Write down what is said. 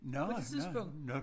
På det tidspunkt